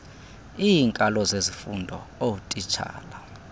iinkalo zezifundo ootitshala